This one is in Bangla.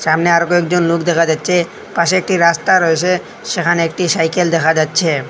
সামনে আরো কয়েকজন লোক দেখা যাচ্ছে পাশে একটি রাস্তা রয়েছে সেখানে একটি সাইকেল দেখা যাচ্ছে।